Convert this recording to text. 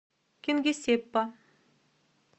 кингисеппа